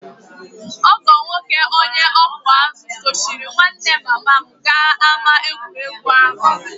Ọgọ nwoke onye ọkụ azụ̀ sochiri nwanne mama m gaa ámá egwuregwu ahụ